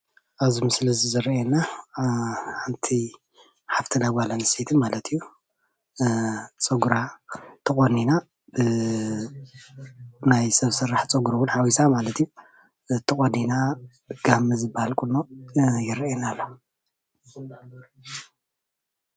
ኣብዚ ምስሊ እዚ ዝረአየና ሓንቲ ሓፍትና ጓል አነስተይቲ ማለት እዩ። ፀጉራ ተቆኒና ናይ ሰብ ስራሕ ፀጉሪ ውን ሓዊሳ ማለት እዩ ተቆኒና ጋመ ዝበሃል ቁኖ ይረአየና ኣሎ።